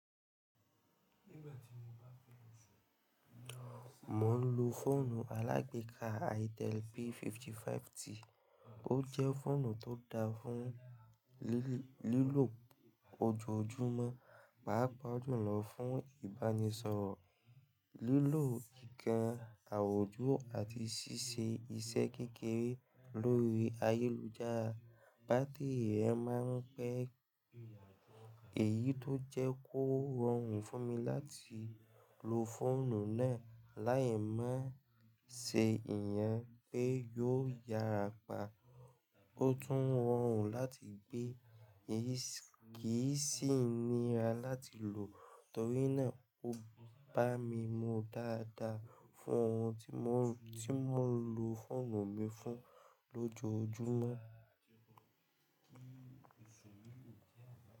Mo ń lo fọ́ònù alágbeka Itel P55t, ó jẹ́ fọ́ònù tó da fún lílò ojoojúmọ́, pàápàá jùlọ fún ìbánisọ̀rọ̀, lílò ìkàn àwùjọ àti ṣíṣe iṣẹ́ kékeré lórí ayélujára. Bátery rẹ̀ máa ń pẹ́, èyí tó jẹ́ kó rọrùn fún mi láti lo fọ́ònù náà lái máa ń ṣe ìyẹn pé yóò yára pa. Ó tún rọrùn láti gbé, kì í sì níra láti lò torí náà ó bá mi mu daadaa fún ohun tí mò ń lo fọ́ònù mi fún lójojúmọ́.